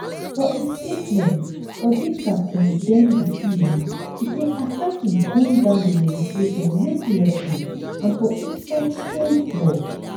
for im statement odinga condemn di killing e say assassin gun down di legislator mercilessly and for inside cold blood